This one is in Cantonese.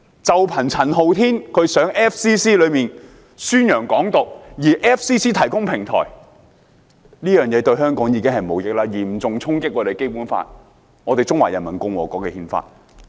單是陳浩天到 FCC 宣揚"港獨"，而 FCC 提供平台，做法已經對香港無益，嚴重衝擊《基本法》及我們中華人民共和國的憲法。